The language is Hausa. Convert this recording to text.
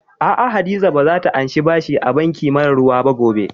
Aa, Hadiza ba za ta anshi bashi a banki mara ruwa ba gobe